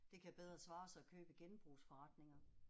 Det kan bedre svare sig at købe i genbrugsforretninger